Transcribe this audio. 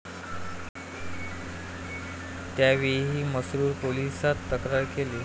त्यावेळीही म्हसरूळ पोलिसात तक्रार केली.